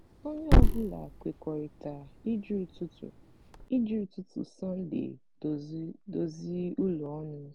onye ọ bụla kwekọrịtara iji ụtụtụ iji ụtụtụ sọnde dozi ụlọ ọnụ.